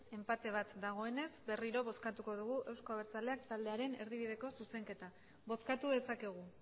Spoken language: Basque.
enpate bat dagoenez berriro bozkatuko dugu euzko abertzaleak taldearen erdibideko zuzenketa bozkatu dezakegu